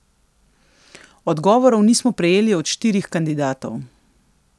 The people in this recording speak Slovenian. Odgovorov nismo prejeli od štirih kandidatov.